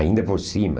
Ainda por cima,